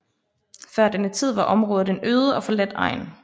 Før denne tid var området en øde og forladt egn